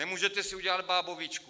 Nemůžete si udělat bábovičku?